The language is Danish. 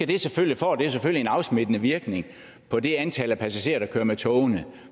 det selvfølgelig en afsmittende virkning på det antal passagerer der kører med togene